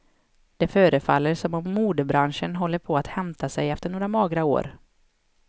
Det förefaller som om modebranschen håller på att hämta sig efter några magra år.